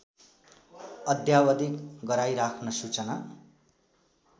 अद्यावधिक गराइराख्न सूचना